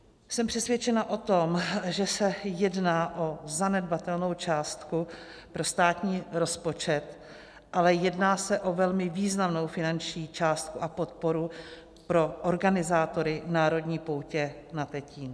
Jsem přesvědčena o tom, že se jedná o zanedbatelnou částku pro státní rozpočet, ale jedná se o velmi významnou finanční částku a podporu pro organizátory národní poutě na Tetín.